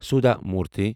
سودھا موٗرتھٕے